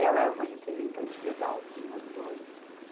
Ela é uma representante legal dos moradores.